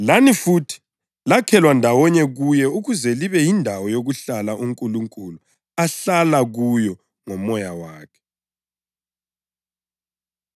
Lani futhi lakhelwa ndawonye kuye ukuze libe yindawo yokuhlala uNkulunkulu ahlala kuyo ngoMoya wakhe.